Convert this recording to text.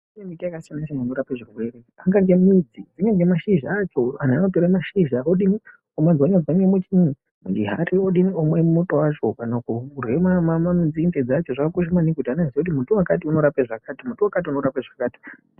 Kune miti yakasiyana siyana inorape zvirwere ingange midzi kunyange mashizha antu anotore mashizha odini, omatswanya tswanya muchihari odini, omwe muto wacho kana kurye nzinde dzacho. Zvakakosha maningi kuti munhu aziye kuti muti wakati unorape zvakati.